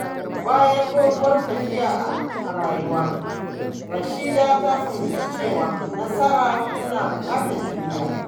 Bayan doguwar tafiya a rayuwa, Rashida ta fahimci cewa nasara tana buƙatar juriya.